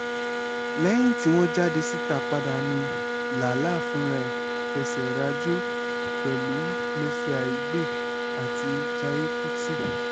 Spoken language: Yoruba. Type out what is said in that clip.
lẹ́yìn tí wọ́n jáde síta padà ni lala fúnra ẹ̀ fẹsẹ̀ ràjò pẹ̀lú mercy aigbe àti jayé kùtì